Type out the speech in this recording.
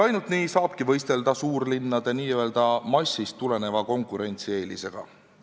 Ainult nii saabki võistelda suurlinnade, n-ö massist tuleneva konkurentsieelisega.